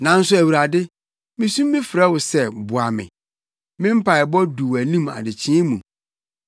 Nanso Awurade, misu frɛ wo sɛ boa me; me mpaebɔ du wʼanim adekyee mu.